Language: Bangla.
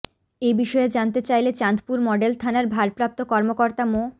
এ বিষয়ে জানতে চাইলে চাঁদপুর মডেল থানার ভারপ্রাপ্ত কর্মকর্তা মো